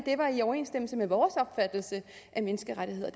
var i overensstemmelse med vores opfattelse af menneskerettigheder